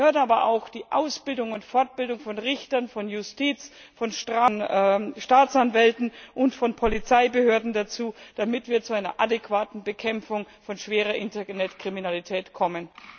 Es gehört aber auch die Ausbildung und Fortbildung von Richtern, von Justizbeamten, von Staatsanwälten und von Polizisten dazu, damit wir zu einer adäquaten Bekämpfung von schwerer Internetkriminalität kommen.